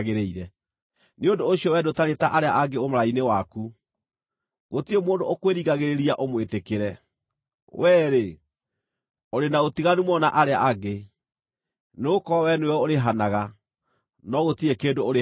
Nĩ ũndũ ũcio wee ndũtariĩ ta arĩa angĩ ũmaraya-inĩ waku; gũtirĩ mũndũ ũkwĩringagĩrĩria ũmwĩtĩkĩre. Wee-rĩ, ũrĩ na ũtiganu mũno na arĩa angĩ, nĩgũkorwo wee nĩwe ũrĩhanaga, no gũtirĩ kĩndũ ũrĩhagwo.